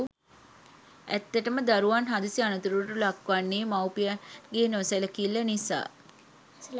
ඇත්තටම දරුවන් හදිසි අනතුරුවලට ලක්වන්නේ මවුපියන්ගේ නොසැලකිල්ල නිසා.